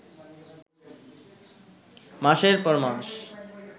মাসের পর মাস